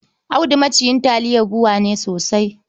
Audu maciyin taliyar BUA ne sosai.